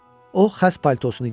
O xəz paltosunu geyindi.